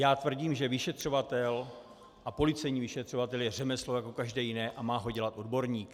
Já tvrdím, že vyšetřovatel, a policejní vyšetřovatel, je řemeslo jako každé jiné a má ho dělat odborník.